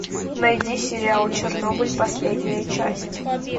найди сериал чернобыль последняя часть